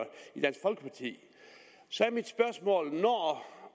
så er mit spørgsmål når